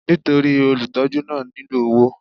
Nítorí olùtọ́jú náà nílò owó.